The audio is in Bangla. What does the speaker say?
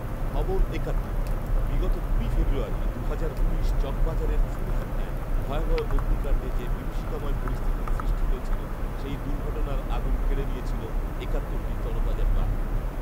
খবর একাত্তর, বিগত কুড়ি ফেব্রুয়ারি দুহাজার উনিশ চকবাজারের চুড়িহাট্টায় ভয়াবহ অগ্নিকান্ডে যে বিভীষিকাময় পরিস্থিতির সৃষ্টি হয়েছিল সেই দুঘর্টনার আগুন কেড়ে নিয়েছিল একাত্তরটি তরতাজা প্রাণ